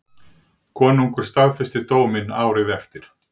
Konungur staðfesti dóminn árið eftir.